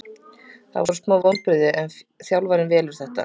Það voru smá vonbrigði en þjálfarinn velur þetta.